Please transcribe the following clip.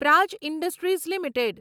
Praj industries limited